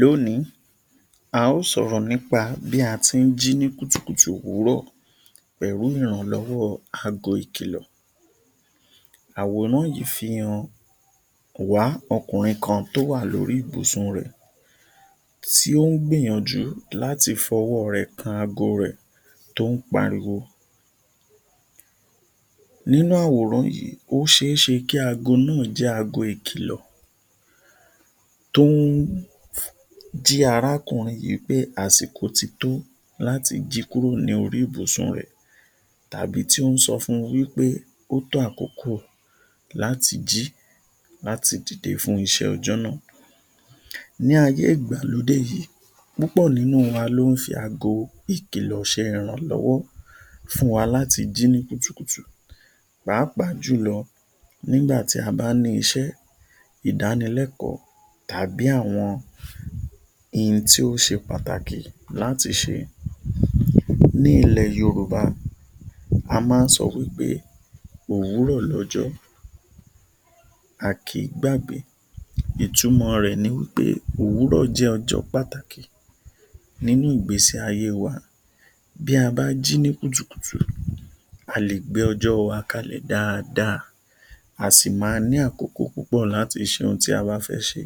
Lónìí, a ó sọ̀rọ̀ nípa bí a ti ń jí ní kùtùkùtù òwúrọ̀ pẹ̀lú ìrànlọ́wọ́ aago ìkìlọ̀. Àwòrán yìí fi hàn wa ọkùnrin kan tí ó wà lórí ibùsùn rẹ̀ tí ó ń gbìyànjú láti fí ọwọ́ rẹ̀ kan aago rẹ̀ tí ó ń pariwo. Nínú àwòrán yìí, ó ṣe é ṣe kí aago náà jẹ́ aago ìkìlọ̀ tó ń jí arákùnrin yìí pé àsìkò tí tó láti jí kúrò lórí ibùsùn rẹ̀ tàbí tó ń sọ fún un wí pé ó tó àkókò láti jí láti dìde fún iṣẹ́ ọjọ́ náà. Ní ayé ìgbàlódé yìí, púpọ̀ nínú wa ní ó ń fi aago ìkìlọ̀ ṣe ìrànlọ́wọ́ fún wa láti jí ní kùtùkùtù pàápàá jùlọ nígbà tí a bá ní iṣẹ́, ìdánilẹ́kọ̀ọ́ tàbí àwọn ohun tó ṣe pàtàkì láti ṣe. Ní ilẹ̀ Yorùbá, a máa ń sọ wí pé ‘Òwúrọ̀ lọ́jọ́ a kì í gbàgbé’. Ìtumọ̀ rẹ̀ ni wí pé òwúrọ̀ jẹ́ ọjọ́ pàtàkì nínú ìgbésí ayé wa. Bí a bá jí ní kùtùkùtù a lè gbé ọjọ́ wa kalẹ̀ dáadáa, a sì máa ní àkókò púpọ̀ láti ṣe ohun tí a bàa fẹ́ ṣe.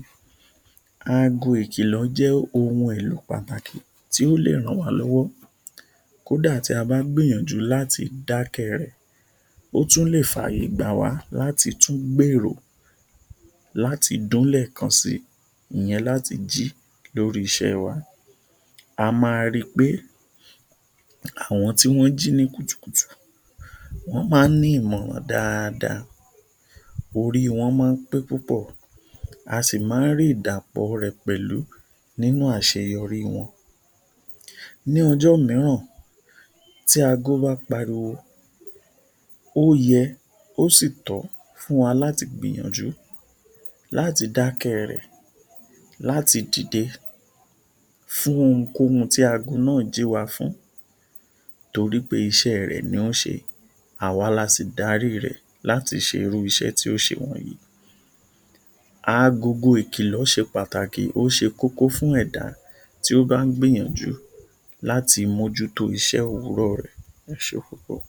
Aago ìkìlọ̀ jẹ́ ohun èlò pàtàkì tí ó lè ràn wá lọ́wọ́ kó dà tí a bá gbìyànjú láti dá ké rẹ̀, ó tún lè fàyè gbà wá láti tún gbèrò láti dún lẹ́ẹ̀kan sí, ìyẹn láti jí lórí iṣẹ́ wa. A máa rí pé, àwọn tí wọn jí ní kùtùkùtù wọn máa ní ìmọ̀ wọn dáadáa, orí wọn máa pé púpọ̀, à sì máa rí ìdapò rẹ̀ pẹ̀lú nínú àṣeyọrí wọn. Ní ọjọ́ mìíràn tí aago bá pariwo, ó yẹ, o sì tọ́ fún wa láti gbìyànjú láti dá ké rẹ̀ láti dìde fún ohunkóhun tí aago náà jí wa fún torí pé iṣẹ́ wa ni ṣe é. Àwa là sì dárí rẹ̀ láti ṣe irú iṣẹ́ tó ṣe wọ̀nyí. Agogo ìkìlọ̀ ṣe pàtàkì, ó ṣe kókó fún ẹ̀dá tí ó bá ń gbìyànjú láti mójú tó iṣẹ́ òwúrọ̀ rẹ̀. Ẹ ṣe púpọ̀.